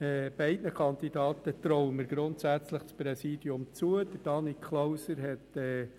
Wir haben jetzt wieder eine Zweierkandidatur, sagen wir es so, denn ich habe ein Problem mit dem Wort Kampfwahl.